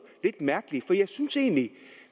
lidt mærkeligt